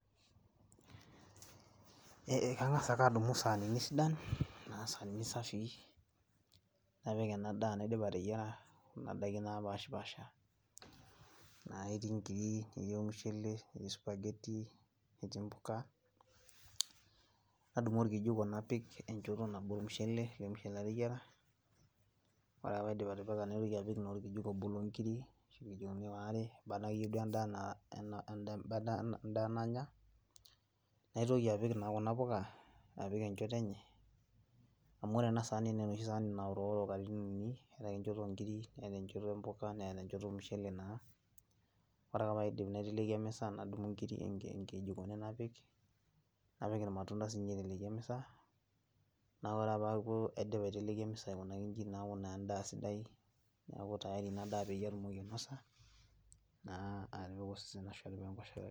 Kang'asa ake adumu saanini sidan, naa saanini safii napik enadaa naidipa ateyiara, kuna daiki napashipasha, na etii nkiri, netii ormushele, netii spaghetti, netii mpuka. Nadumu orkijiko napik enchoto nabo ormushele, ele mushele lateyiara. Ore ake paidip atipika naitoki apik taa orkijiko obo lonkiri, ashu irkijikoni waare, eneba akeyie duo endaa enaa endaa nanya, naitoki apik naa kuna puka apik enchoto enye. Amu ore enasaani nenoshi saani naoroworo katitin uni, etake enchoto onkiri, netaa enchoto ompuka, neeta enchoto ormushele naa. Ore ake paidip naiteleki emisa nadumu inkijikoni napik, napik irmatunda sinye aiteleki emisa, na ore ake paku aidipa aiteleki emisa aikunaki iji neeku naa endaa sidai. Neeku tayari inadaa peyie atumoki ainosa naa atipika osesen ashu atipika enkoshoke.